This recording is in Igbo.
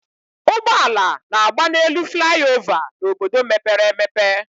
Ụgbọala na-agba n'elu flaị ova n'obodo mepere emepe